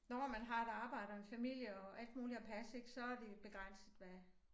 Når man har et arbejde og en familie og alt muligt at passe ik så er det begrænset hvad